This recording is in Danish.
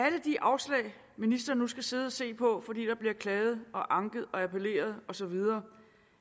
alle de afslag ministeren nu skal sidde at se på fordi der bliver klaget og anket og appelleret og så videre